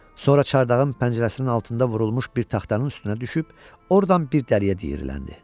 Sonra çardağın pəncərəsinin altında vurulmuş bir taxtanın üstünə düşüb, ordan bir dəliyə diyirləndi.